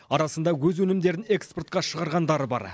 арасында өз өнімдерін экспортқа шығарғандары бар